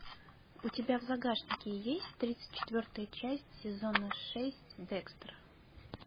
у тебя в загашнике есть тридцать четвертая часть сезона шесть декстера